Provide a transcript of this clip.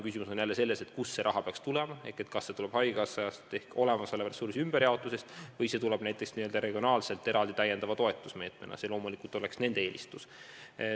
Küsimus on jälle selles, kust see raha peaks tulema: kas see tuleb haigekassast ehk olemasoleva ressursi ümberjaotuse abil või tuleb see näiteks regionaalselt eraldi täiendava toetusmeetmena – see loomulikult oleks nende eelistus.